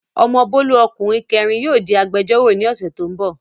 Ọmọ Bólú ọkùnrin kẹẹ̀rin yóò di agbẹ́jọ́rọ̀ ní ọ̀sẹ̀ tó n bọ̀